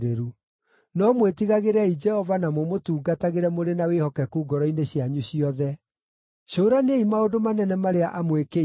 No mwĩtigagĩrei Jehova na mũmũtungatagĩre mũrĩ na wĩhokeku ngoro-inĩ cianyu ciothe; cũraniai maũndũ manene marĩa amwĩkĩire.